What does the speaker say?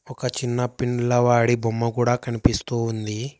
ఒక చిన్న పిల్లవాడి బొమ్మ కూడా కనిపిస్తూ ఉంది.